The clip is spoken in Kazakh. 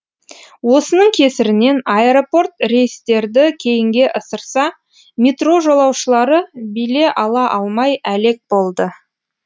осының кесірінен аэропорт рейстерді кейінге ысырса метро жолаушылары биле ала алмай әлек болды